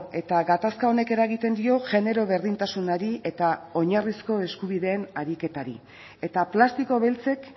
eta gatazka honek eragiten dio genero berdintasunari eta oinarrizko eskubideen ariketari eta plastiko beltzek